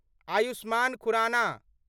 Ayushman Khurana